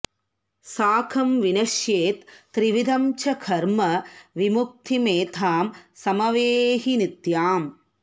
साकं विनश्येत् त्रिविधं च कर्म विमुक्तिमेतां समवेहि नित्याम्